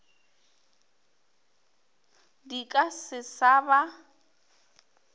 di ka se sa ba